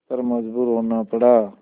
पर मजबूर होना पड़ा